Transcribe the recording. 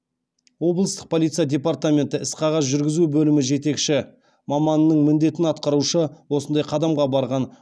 облыстық полиция департаменті іс қағаз жүргізу бөлімі жетекші маманының міндетін атқарушы осындай қадамға барған